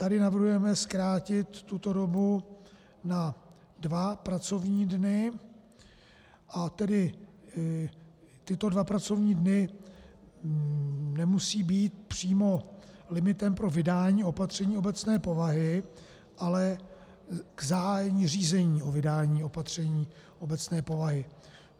Tady navrhujeme zkrátit tuto dobu na dva pracovní dny, a tedy tyto dva pracovní dny nemusí být přímo limitem pro vydání opatření obecné povahy, ale k zahájení řízení o vydání opatření obecné povahy.